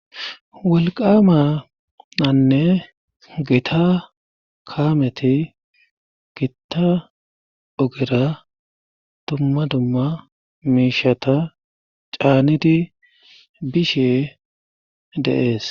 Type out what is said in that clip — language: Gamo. Wolqama anne gita kaameti gitta ogera dumma dumma miishata caanidi bishe dees.